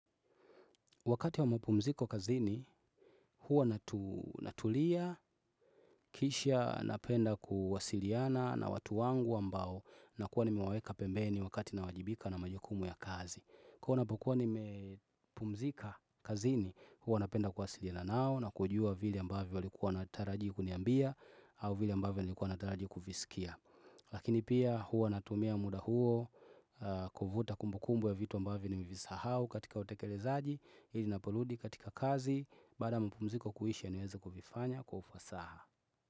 Wakati wa mpumziko kazini, huwa natulia, kisha napenda kuwasiliana na watu wangu ambao na kuwa nimewaweka pembeni wakati na wajibika na majukumu ya kazi. Huwa ninapokuwa nimepumzika kazini, huwa napenda kuwasiliana nao na kujua vile ambavyo walikuwa wanatariji kuniambia au vile ambavyo nilikuwa nataraji kuvisikia Lakini pia huwa natumia muda huo kuvuta kumbukumbu ya vitu ambavyo nimevisahau katika utekelezaji ili ninaporudi katika kazi baada ya mpumziko kuisha niweze kuvifanya kwa ufasaha.